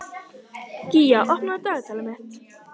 Gýgjar, opnaðu dagatalið mitt.